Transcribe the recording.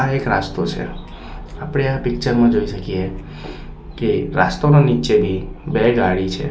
આ એક રાસ્તો છે આપડે આ પિક્ચર માં જોઈ શકીએ કે રાસ્તોનો નીચે બી બે ગાડી છે.